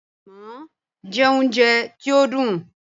“Ànàmọ́” jẹ́ oúnjẹ tí ó dùn